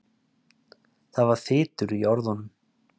Það var þytur í orðunum.